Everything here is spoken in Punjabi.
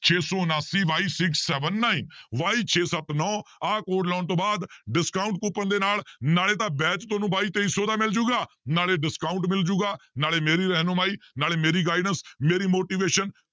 ਛੇ ਸੌ ਉਣਾਸੀ y six seven nine y ਛੇ ਸੱਤ ਨੋਂ ਆਹ code ਲਾਉਣ ਤੋਂ ਬਾਅਦ discount coupon ਦੇ ਨਾਲ ਨਾਲੇ ਤਾਂ batch ਤੁਹਾਨੂੰ ਬਾਈ ਤੇਈ ਸੌ ਦਾ ਮਿਲ ਜਾਏਗਾ ਨਾਲੇ discount ਮਿਲ ਜਾਊਗਾ ਨਾਲੇ ਮੇਰੀ ਰਹਿਨੁਮਾਈ, ਨਾਲੇ ਮੇਰੀ guidance ਮੇਰੀ motivation